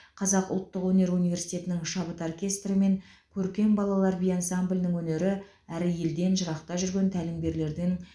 қазақ ұлттық өнер университетінің шабыт оркестрі мен көркем балалар би ансамблінің өнері әрі елден жырақта жүрген тәлімгерлердің